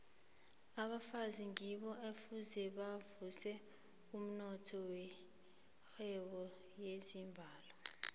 abafazi ngibo ekufuze bavuse umnotho wenarha yezimbabwe